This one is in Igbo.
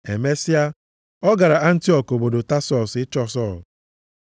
Emesịa, ọ gara Antiọk obodo Tasọs ịchọ Sọl.